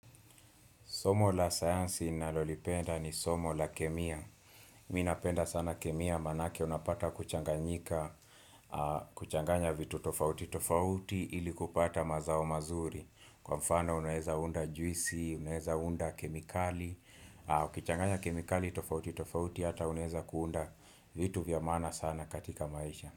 Somo la science inalolipenda ni somo la kemia. Mimi napenda sana kemia, maanake unapata kuchanganyika, kuchanganya vitu tofauti tofauti ili kupata mazao mazuri. Kwa mfano unaweza unda juisi, unaweza unda kemikali, kuchanganya kemikali tofauti tofauti hata unaweza kuunda vitu vyamaana sana katika maisha.